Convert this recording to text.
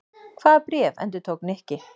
Hvaða bréf? endurtók Nikki.